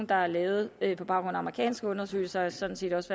der er lavet på baggrund af amerikanske undersøgelser og sådan set også